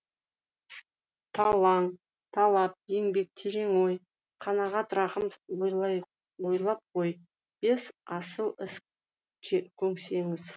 талап еңбек терең ой қанағат рақым ойлап қой бес асыл іс көнсеңіз